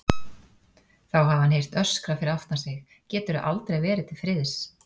Þá hafi hann heyrt öskrað fyrir aftan sig: Geturðu aldrei verið til friðs?